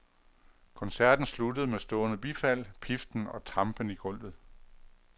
Koncerten sluttede med stående bifald, piften og trampen i gulvet.